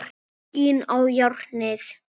Skín í járnið.